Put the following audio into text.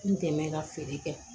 N dɛmɛ ka feere kɛ